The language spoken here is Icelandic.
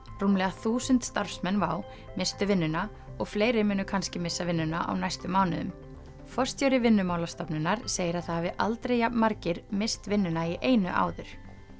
rúmlega þúsund starfsmenn WOW misstu vinnuna og fleiri munu kannski missa vinnuna á næstu mánuðum forstjóri Vinnumálastofnunar segir að það hafi aldrei jafn margir misst vinnuna í einu áður